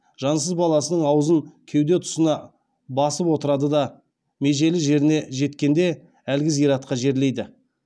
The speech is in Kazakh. жансыз баласының аузын кеуде тұсына басып отырады да межелі жеріне жеткенде әлгі зиратқа жерлейді